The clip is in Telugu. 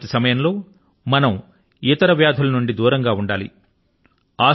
కరోనా వ్యాప్తి కాలం లో మనం ఇతర వ్యాధుల నుండి దూరంగా ఉండాలి